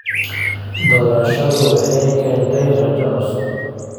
Doorashadu waxay keentay rajo cusub.